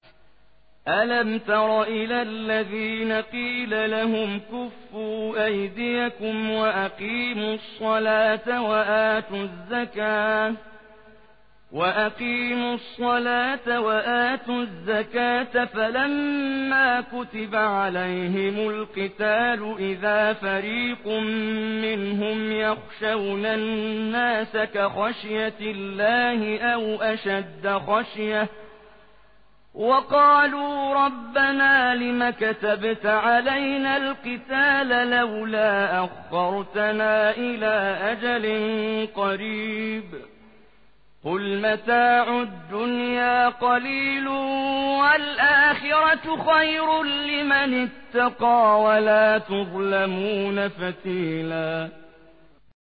أَلَمْ تَرَ إِلَى الَّذِينَ قِيلَ لَهُمْ كُفُّوا أَيْدِيَكُمْ وَأَقِيمُوا الصَّلَاةَ وَآتُوا الزَّكَاةَ فَلَمَّا كُتِبَ عَلَيْهِمُ الْقِتَالُ إِذَا فَرِيقٌ مِّنْهُمْ يَخْشَوْنَ النَّاسَ كَخَشْيَةِ اللَّهِ أَوْ أَشَدَّ خَشْيَةً ۚ وَقَالُوا رَبَّنَا لِمَ كَتَبْتَ عَلَيْنَا الْقِتَالَ لَوْلَا أَخَّرْتَنَا إِلَىٰ أَجَلٍ قَرِيبٍ ۗ قُلْ مَتَاعُ الدُّنْيَا قَلِيلٌ وَالْآخِرَةُ خَيْرٌ لِّمَنِ اتَّقَىٰ وَلَا تُظْلَمُونَ فَتِيلًا